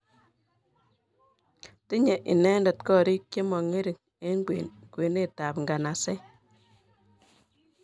Tinyei inendet korik chemo ngering eng kwenetab nganaset